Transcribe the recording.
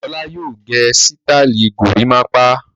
Ọlá yóò gẹ sítáálì gorímápá!